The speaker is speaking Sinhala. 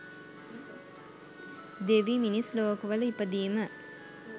දෙවි, මිනිස් ලෝකවල ඉපදීම